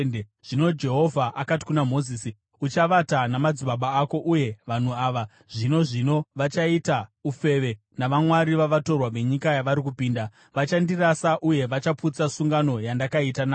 Zvino Jehovha akati kuna Mozisi, “Uchavata namadzibaba ako, uye vanhu ava, zvino zvino, vachaita ufeve navamwari vavatorwa venyika yavari kupinda. Vachandirasa uye vachaputsa sungano yandakaita navo.